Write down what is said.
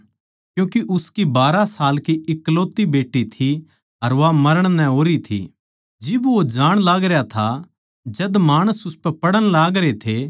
क्यूँके उसकी बारहां साल की एकलौती बेट्टी थी अर वा मरण नै होरी थी जिब वो जाण लागरया था जद माणस उसपै पड़ण लागरे थे